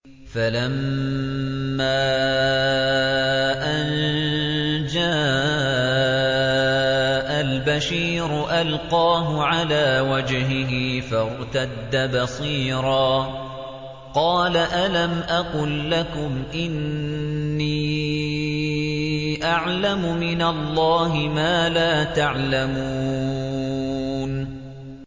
فَلَمَّا أَن جَاءَ الْبَشِيرُ أَلْقَاهُ عَلَىٰ وَجْهِهِ فَارْتَدَّ بَصِيرًا ۖ قَالَ أَلَمْ أَقُل لَّكُمْ إِنِّي أَعْلَمُ مِنَ اللَّهِ مَا لَا تَعْلَمُونَ